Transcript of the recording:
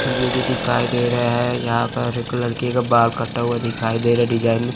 TV भी दिखाई दे रहा है यहां पर एक लड़के का बाल कटा हुआ दिखाई दे रहा डिजाइन में--